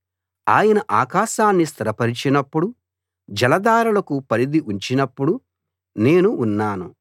ఆయన ఆకాశాన్ని స్థిరపరచినప్పుడు జలధారలకు పరిథి ఉంచినప్పుడు నేను ఉన్నాను